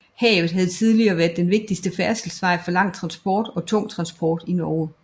Havet havde hidtil været den vigtigste færdselsvej for lang transport og tung transport i Norge